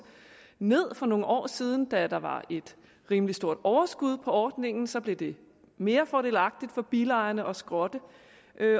ned for nogle år siden da der var et rimelig stort overskud på ordningen så blev det mere fordelagtigt for bilejerne at skrotte